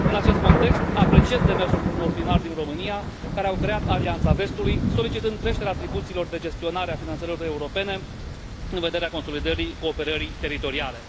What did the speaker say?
În acest context, apreciez demersul unor primari din România, care au creat Alianța vestului, solicitând creșterea atribuțiilor de gestionare a finanțărilor europene, în vederea consolidării cooperării teritoriale.